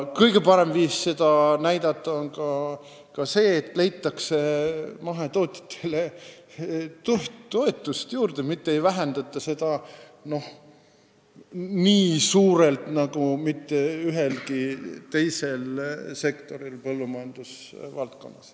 Kõige parem viis seda näidata on ka see, kui mahetootjatele leitakse raha juurde – mitte ühelgi teisel sektoril põllumajandusvaldkonnas ei vähendata toetust nii suurel määral.